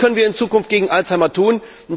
Was können wir in Zukunft gegen Alzheimer tun?